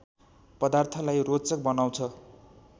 पदार्थलाई रोचक बनाउँछ